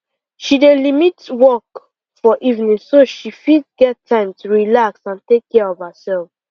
she dey limit work for evening so she fit get time to relax and take care of herself